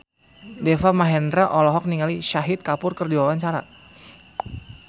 Deva Mahendra olohok ningali Shahid Kapoor keur diwawancara